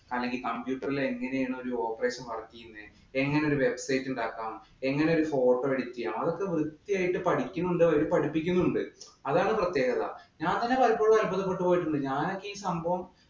അല്ലെങ്കിൽ computer ഇല്‍ എങ്ങനെയാണ് ഒരു operation work ചെയ്യുന്നത്. എങ്ങനെ ഒരു website ഉണ്ടാക്കാം? അതൊക്കെ വൃത്തിയായിട്ട് അവര് പഠിക്കുന്നുമുണ്ട്. അവരെ പഠിപ്പിക്കുന്നുമുണ്ട്. അതാണ് പ്രത്യേകത. ഞാൻ തന്നെ പലപ്പോഴും അത്ഭുതപ്പെട്ടുപോയിട്ടുണ്ട്. ഞാനൊക്കെ ഈ സംഭവം